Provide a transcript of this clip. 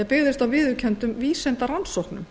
byggðist á viðurkenndum vísindarannsóknum